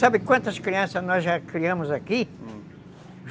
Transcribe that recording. Sabe quantas crianças nós já criamos aqui? Hum